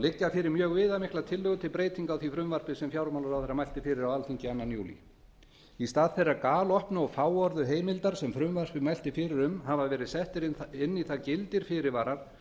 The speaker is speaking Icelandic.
liggja fyrir mjög viðamiklar tillögur til breytinga á því frumvarpi sem fjármálaráðherra mælti fyrir á alþingi annan júlí í stað þeirrar galopnu og fáorðu heimildar sem frumvarpið mælti fyrir um hafa verið settir inn í það gildir fyrirvarar